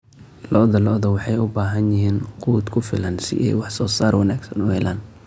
Lo'da lo'da waxay u baahan yihiin quud ku filan si ay wax soo saar wanaagsan u helaan.